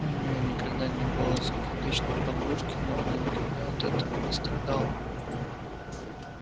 у нее никогда не было закадычной подружки но она никогда от этого не страдала